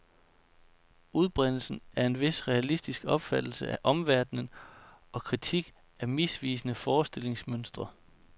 Udbredelse af en vis realistisk opfattelse af omverdenen og kritik af misvisende forestillingsmønstre.